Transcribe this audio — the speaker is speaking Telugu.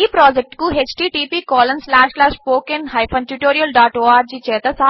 ఈ ప్రాజెక్ట్ కు httpspoken tutorialorg